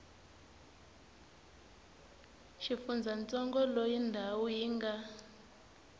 xifundzantsongo loyi ndhawu yi nga